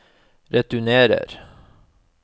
returnerer